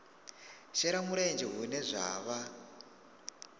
shela mulenzhe hune zwa vha